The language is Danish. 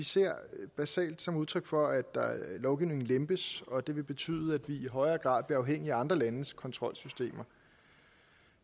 ser det basalt som udtryk for at lovgivningen lempes og at det vil betyde at i højere grad bliver afhængige af andre landes kontrolsystemer